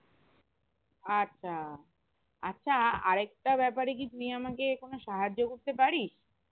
আচ্ছা আচ্ছা আর একটা ব্যাপারে কি তুই আমাকে কোনো সাহায্য করতে পারিস?